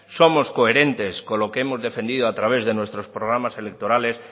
somos coherentes con lo que hemos defendido a través de nuestros programas electorales